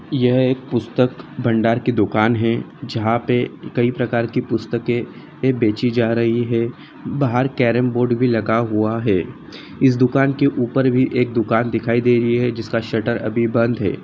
यह एक पुस्तक भंडार की दुकान हैं जहाँ पे कई प्रकार के पुस्तके बेचीं जा रहे हैं बाहर कैरमबोर्ड भी लगा हुआ हैं इस दुकान के उपर भी एक दुकान दिखाई दे रही हैं जिसका शटर अभी बंद हैं।